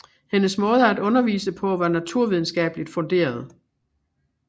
Hendes måde at undervise på var naturvidenskabeligt funderet